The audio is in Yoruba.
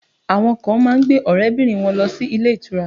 Àwọn kan má ń gbé àwọn ọrẹ bìnrin wọn lọ sí ilé ìtura